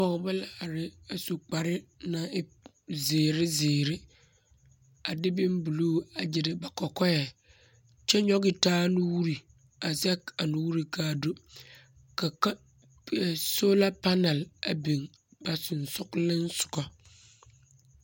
Pͻgebͻ la are a su kpare naŋ e zeere zeere. A de bombuluu a gyere ba kͻkͻԑ, kyԑ nyͻge taa nuuri a zԑge a nuuri ka a do. Ka ka eԑ soola panaal a biŋ ba sensogelinsogͻ.